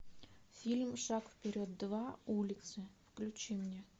фильм шаг вперед два улицы включи мне